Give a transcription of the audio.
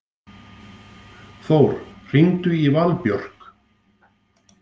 Þór, hringdu í Valbjörk.